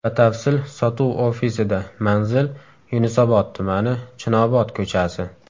Batafsil sotuv ofisida Manzil: Yunusobod tumani, Chinobod ko‘chasi.